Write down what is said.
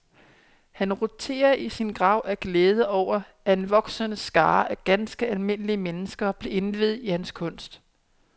Han roterer i sin grav af glæde over, at en voksende skare af ganske almindelige mennesker bliver indviet i hans kunst.